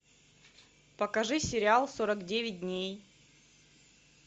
покажи сериал сорок девять дней